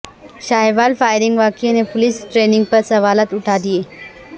Sahiwal firing واقعہ نے police training پر سوالات اٹھادیے